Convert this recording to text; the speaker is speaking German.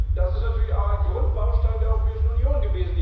Das war natürlich ein Grundbaustein der Europäischen Union.